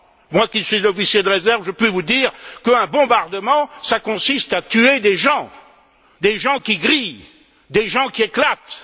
Moi qui suis officier de réserve, je puis vous dire qu'un bombardement, ça consiste à tuer des gens, des gens qui grillent, des gens qui éclatent!